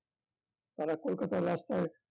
তারা কলকাতার রাস্তায়